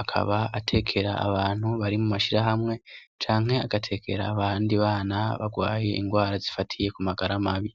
akaba atekera abantu bari mu mashirahamwe canke agatekera abandi bana bagwaye indwara zifatiye ku magara mabi.